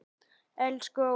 Elsku Óla.